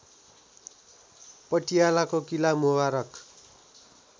पटियालाको Qila Mubarak